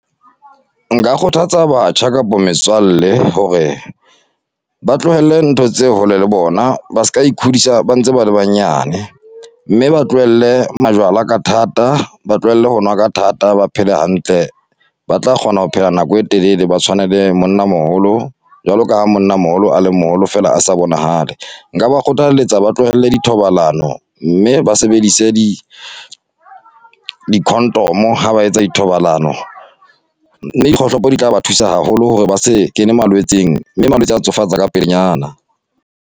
Nka kgothatsa batjha kapo metswalle hore ba tlohelle ntho tse hole le bona, ba se ka Ikhodisa ba ntse ba banyane, mme ba tlohelle majwala ka thata, ba tlohelle ho nwa ka thata, ba phele hantle. Ba tla kgona ho phela nako e telele, ba tshwane le monnamoholo, jwalo ka ha monnamoholo a le moholo feela a sa bonahale. Nka ba kgothaletsa ba tlohelle di thobalano, mme ba sebedise di di condom ha ba etsa dithobalano, kgohlopo di tla ba thusa haholo hore ba se kene malwetseng, mme malwetse a tsofatsa ka pelenyana.